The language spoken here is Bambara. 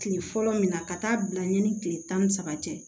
Kile fɔlɔ min na ka taa bila yan ni kile tan ni saba tɛ